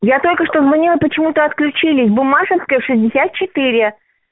я только что звонила почему-то отключились буммашевская шестьдесят четыре